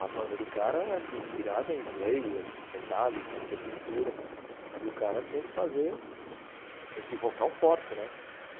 A banda do cara, assim, inspirada em Slayer, Metallica, Sepultura, e o cara tinha que fazer esse vocal forte, né?, aham